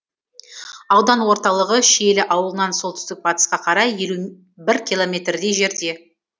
аудан орталығы шиелі ауылынан солтүстік батысқа қарай елу бір километрдей жерде